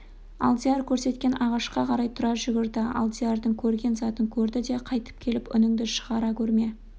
алдияр көрсеткен ағашқа қарай тұра жүгірді алдиярның көрген затын көрді де қайтып келіп үніңді шығара көрме